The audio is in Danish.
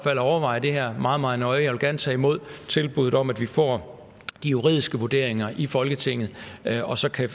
at overveje det her meget meget nøje jeg vil gerne tage imod tilbuddet om at vi får de juridiske vurderinger i folketinget og så kan